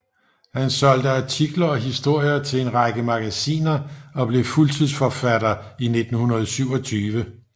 Han solgte artikler og historier til en række magasiner og blev fuldtidsforfatter i 1927